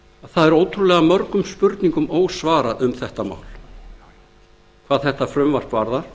er ótrúlega mörgum spurningum ósvarað um þetta mál hvað þetta frumvarp